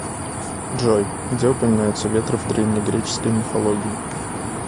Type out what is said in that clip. джой где упоминается ветры в древнегреческой мифологии